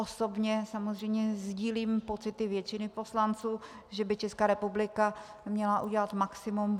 Osobně samozřejmě sdílím pocity většiny poslanců, že by Česká republika měla udělat maximum.